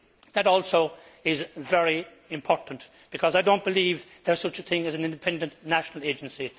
That also is very important because I do not believe there is such a thing as an independent national agency.